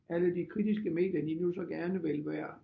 Alle de kritiske medier de nu så gerne vil være